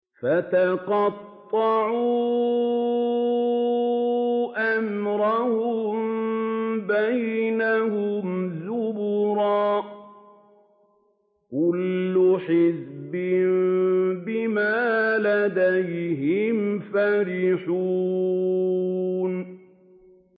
فَتَقَطَّعُوا أَمْرَهُم بَيْنَهُمْ زُبُرًا ۖ كُلُّ حِزْبٍ بِمَا لَدَيْهِمْ فَرِحُونَ